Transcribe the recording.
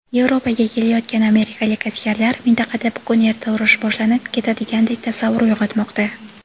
Yevropaga kelayotgan amerikalik askarlar - mintaqada bugun-erta urush boshlanib ketadigandek tasavvur uyg‘otmoqda.